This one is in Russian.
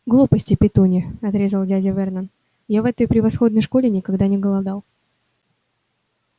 глупости петунья отрезал дядя вернон я в этой превосходной школе никогда не голодал